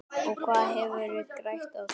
Og hvað hefðu þeir grætt á því?